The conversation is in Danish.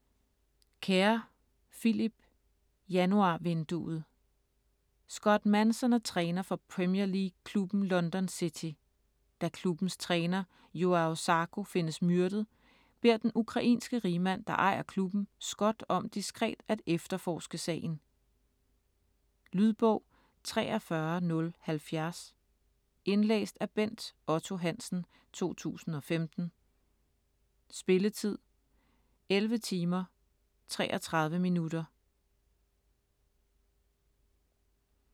Kerr, Philip: Januarvinduet Scott Manson er træner for Premier League klubben London City. Da klubbens træner Joao Zarco findes myrdet, beder den ukrainske rigmand, der ejer klubben, Scott om diskret at efterforske sagen. Lydbog 43070 Indlæst af Bent Otto Hansen, 2015. Spilletid: 11 timer, 33 minutter.